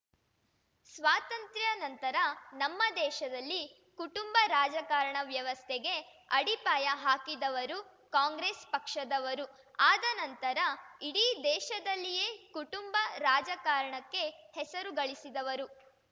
ಸ್ವಾತಂತ್ರ್ಯ ನಂತರ ನಮ್ಮ ದೇಶದಲ್ಲಿ ಕುಟುಂಬ ರಾಜಕಾರಣ ವ್ಯವಸ್ಥೆಗೆ ಅಡಿಪಾಯ ಹಾಕಿದವರು ಕಾಂಗ್ರೆಸ್ ಪಕ್ಷದವರು ಆದ ನಂತರ ಇಡೀ ದೇಶದಲ್ಲಿಯೇ ಕುಟುಂಬ ರಾಜಕಾರಣಕ್ಕೆ ಹೆಸರು ಗಳಿಸಿದವರು